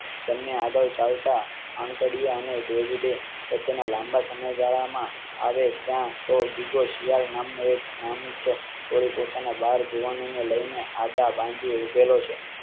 આગળ ચાલ તા આંગડિયા અને david એ લાંબા સમય ગાળામાં ત્યાં તો ગીગો શિયાળ નામનો એક નામી વળી પોતાના બાર જુવાનો ને લયીને આડ બાંધી ઊભેલો છે